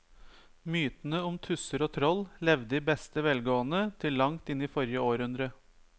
Mytene om tusser og troll levde i beste velgående til langt inn i forrige århundre.